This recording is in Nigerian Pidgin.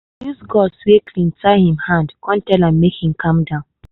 i use gauze wey clean tie him hand come tell am make him calm down.